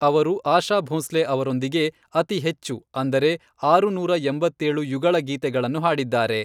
ಅವರು ಆಶಾ ಭೋಸ್ಲೆ ಅವರೊಂದಿಗೆ, ಅತಿ ಹೆಚ್ಚು, ಅಂದರೆ, ಆರುನೂರ ಎಂಬತ್ತೇಳು ಯುಗಳ ಗೀತೆಗಳನ್ನು ಹಾಡಿದ್ದಾರೆ.